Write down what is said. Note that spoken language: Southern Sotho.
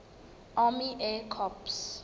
army air corps